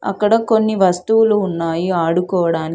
అక్కడ కొన్ని వస్తువులు ఉన్నాయి ఆడుకోవడానికి.